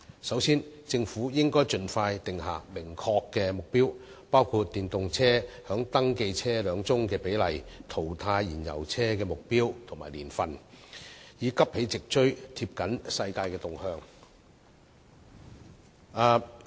首先，政府應該盡快訂下明確目標，包括電動車在登記車輛中的比例、淘汰燃油車的目標年份，以急起直追，貼緊世界趨勢。